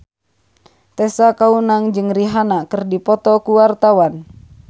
Tessa Kaunang jeung Rihanna keur dipoto ku wartawan